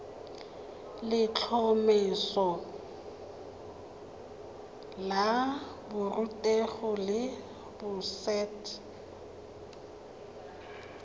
letlhomeso la borutegi la boset